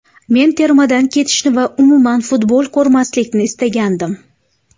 Men termadan ketishni va umuman futbol ko‘rmaslikni istagandim.